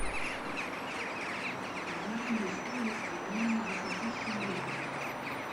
узнай мне стоимость обмена десяти шиллингов